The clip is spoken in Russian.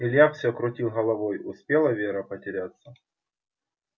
илья все крутил головой успела вера потеряться